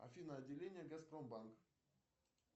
афина отделение газпромбанк